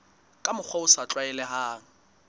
ka mokgwa o sa tlwaelehang